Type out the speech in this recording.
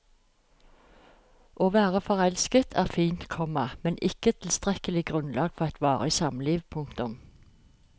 Å være forelsket er fint, komma men ikke tilstrekkelig grunnlag for et varig samliv. punktum